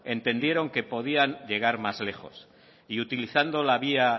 entendieron que podían llegar más lejos y utilizando la vía